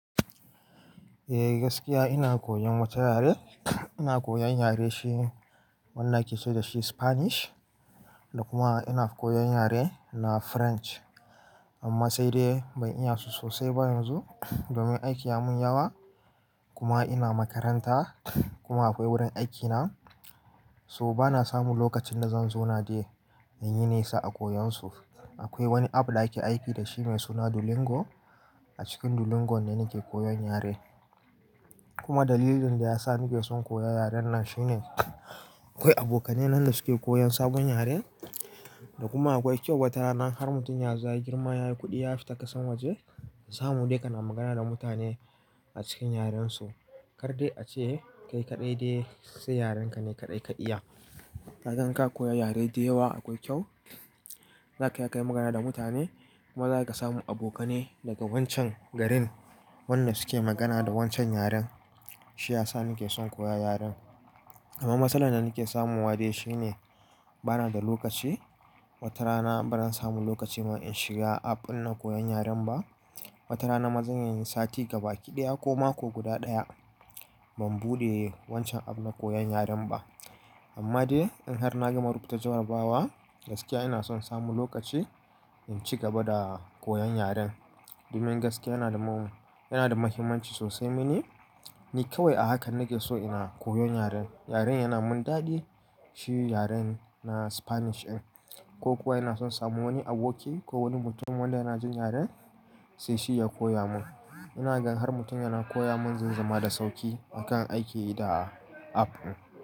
Eh gaskiya ina koyon wata yare, ina koyan yare shi wannan ake ce dashi Spanish da kuma ina koyan yare na French amma sai dai ban iya su sosai ba yanzu domin aiki ya mun yawa. Kuma ina makaranta kuma akwai wurin aikina so bana samu lokacin da zan zo na je in yi nesa a koyan su. Akwai wani app da ake aiki dashi mai suna Duolingo, a cikin Duolingo ne nake koyan yare. Kuma dalilin da ya sa nake son koya yaren nan shine akwai abokanai nan da suke koyan sabon yare toh kuma akwai kyau watarana, har mutum yazo ya girma yayi kudi ya fita kasar waje, samu dai kana magana da mutane acikin yaren su. Kar dai ace, kai kadai dai sai yaren ka ne kadai ka iya. Ka san ka koya yare da yawa akwai kyau, za ka iya kai magana da mutane kuma za ka samu abokanai daga wancan garin wannan suke magana da wancan yaren. Shi ya sa nake son koya yaren. Amma matsalar da nake samun wa dai shi ne bana da lokaci, wata rana baran samu lokaci ma in shiga app dinna koyan yaren ba. Wata rana mazan iyayi sati gaba kiɗaya ko mako guda ɗaya ban buɗe wancan app na koyan yaren ba. Amma dai in har na gama rubuta jarrabawa gaskiya ina son samu lokaci in ci gaba da koyan yaren domin gaskiya yana da mum-- yana da muhimmanci sosai mini, ni kawai a haka nake so ina koyan yaren. Yaren yana mun daɗi, shi yaren na Spanish ɗin ko kuwa ina son samu wani aboki ko wani mutum wanda yana jin yaren sai shi ya koya mun. Ina gan har mutum yana koya mun zaizama da sauƙi a kan aiki da app ɗin.